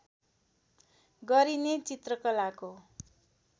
गरिने चित्रकलाको